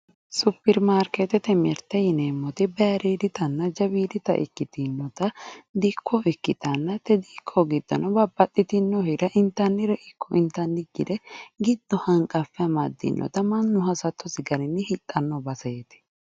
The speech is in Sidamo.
superimaarikeetete mirteeti yineemmoti bayiiriiditanna jawiidita dikko ikkitanna te dikko diddono babbaxxitinnore intannire ikko intannikkire giddo hanqaffe amaddinota mannu hasattosi garinni hidhanno baseeti